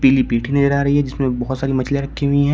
पीली पीठी नजर आ रही है जिसमें बहोत सारी मछलियां रखी हुई हैं।